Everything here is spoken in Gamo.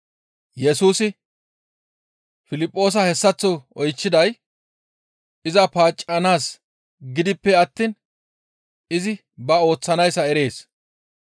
Yesusi Piliphoosa hessaththo oychchiday iza paaccanaas giidippe attiin izi ba ooththanayssa erees.